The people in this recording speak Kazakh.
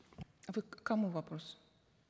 вы к кому вопрос